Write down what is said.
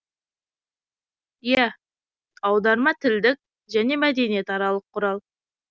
иә аударма тілдік және мәдениет аралық құрал